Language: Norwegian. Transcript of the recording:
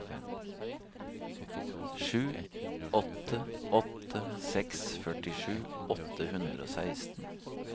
sju åtte åtte seks førtisju åtte hundre og seksten